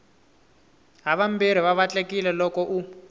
havambirhi va vatlekile loko u